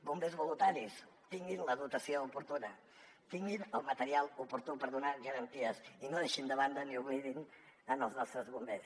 bombers voluntaris tinguin la dotació oportuna tinguin el material oportú per donar garanties i no deixin de banda ni oblidin els nostres bombers